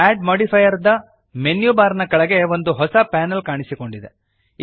add modifier ದ menu bar ನ ಕೆಳಗೆ ಒಂದು ಹೊಸ ಪ್ಯಾನಲ್ ಕಾಣಿಸಿಕೊಂಡಿದೆ